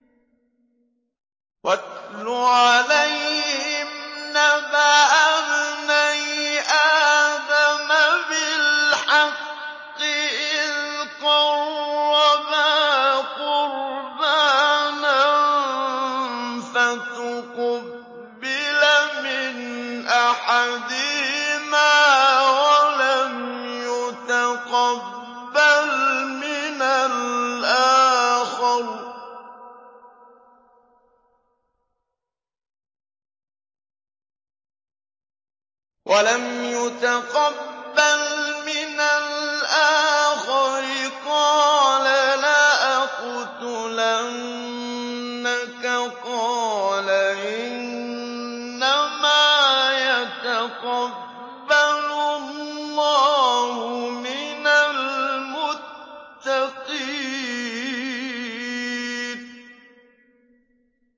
۞ وَاتْلُ عَلَيْهِمْ نَبَأَ ابْنَيْ آدَمَ بِالْحَقِّ إِذْ قَرَّبَا قُرْبَانًا فَتُقُبِّلَ مِنْ أَحَدِهِمَا وَلَمْ يُتَقَبَّلْ مِنَ الْآخَرِ قَالَ لَأَقْتُلَنَّكَ ۖ قَالَ إِنَّمَا يَتَقَبَّلُ اللَّهُ مِنَ الْمُتَّقِينَ